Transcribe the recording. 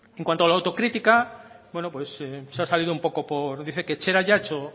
en cuanto a la autocrítica bueno pues se ha salido un poco por dice que etxerat ya ha hecho